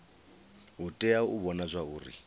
u tea u vhona zwauri